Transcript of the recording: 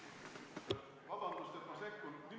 Vabandust, et ma sekkun!